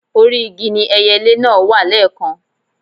Orí igi ni ẹyelé náà wà lẹ́ẹ̀kan